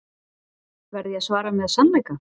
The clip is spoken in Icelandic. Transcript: Verð ég að svara með sannleika?